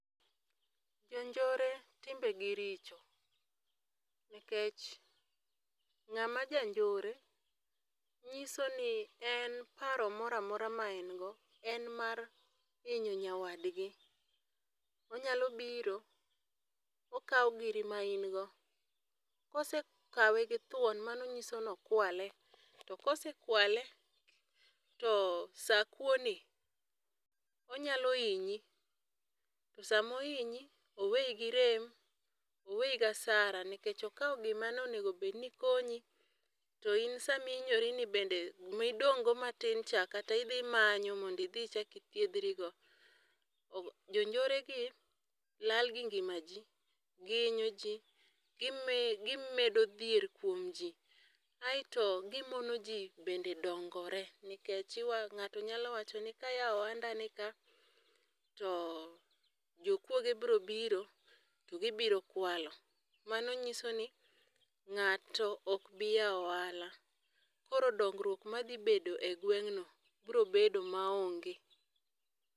Jonjore timbegi richo, nikech ng'ama janjore nyiso ni en paro moro amora maengo en mar hinyo nyawadgi. Onyalo biro okawo giri ma in go, kosekawe githuon mano nyiso nokwale, to kosekwale to sa kuoni onyalo hinyi, to samo ohinyi oweyi gi rem, oweyi gasara nikech okawo gima nonego bedni konyi to in samihinyorini bende midong'go matin cha kata idhimanyo mondo idhi ichak ithiedhrigo. Jonjoregi lal gi ngimaji, giinyo ji, gimedo dhier kuom ji aeto gimono ji bende dongore nikech ng'ato nyalo wacho ni kayawo ohandani ka to jokuoge bro biro to gibirokualo mano nyiso ni ng'ato ok bi yawo ohala, koro dongruok madhibet e gweng'no bro bedo maonge.